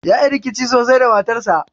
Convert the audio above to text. Yayi rikici sosai da matarsa